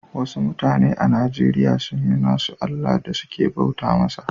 Wassu mutane a Nijeriya sun yi nassu Allah da suke bauta masa.